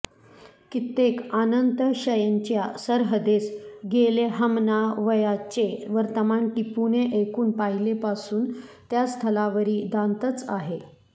कित्येक आनंतशयेनच्या सरहदेस गेले ह्मणावयाचें वर्तमान टिपूनें ऐकून पहिलेपासून त्या स्थलावरी दांतच आहे